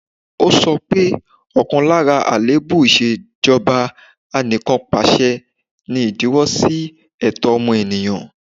Ó sọ pé, ọ̀kan lára àléébù ìṣèjọba Anìkanpàṣẹ ni ìdíwọ́ sí ẹ̀tọ́ ọmọ ènìyàn